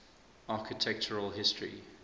architectural history